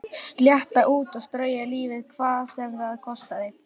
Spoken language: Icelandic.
Slétta út og strauja lífið hvað sem það kostaði.